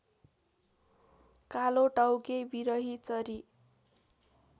कालोटाउके विरहीचरी